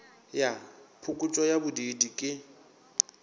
ya phokotšo ya bodiidi ke